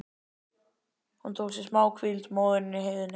Hún tók sér málhvíld, móðirin í heiðinni.